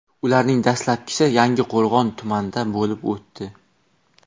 Ularning dastlabkisi Yangiqo‘rg‘on tumanida bo‘lib o‘tdi.